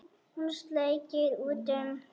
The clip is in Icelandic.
Hann sleikir út um.